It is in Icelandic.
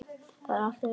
Það er allt í lagi.